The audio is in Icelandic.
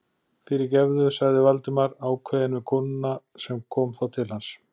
Fyrirgefðu- sagði Valdimar ákveðið við konuna sem kom þá til hans.